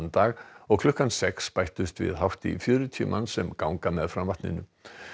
dag og klukkan sex bættust við hátt í fjörutíu manns sem ganga meðfram vatninu